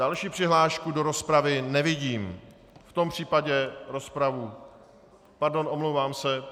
Další přihlášku do rozpravy nevidím, v tom případě rozpravu - pardon, omlouvám se.